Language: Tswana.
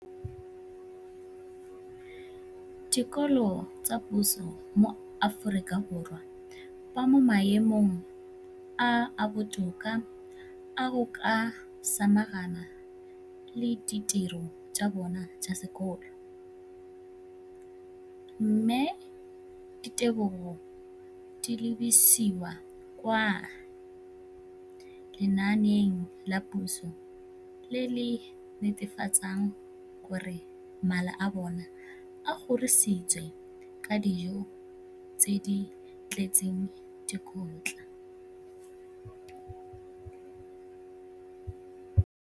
dikolo tsa puso mo Aforika Borwa ba mo maemong a a botoka a go ka samagana le ditiro tsa bona tsa sekolo, mme ditebogo di lebisiwa kwa lenaaneng la puso le le netefatsang gore mala a bona a kgorisitswe ka dijo tse di tletseng dikotla.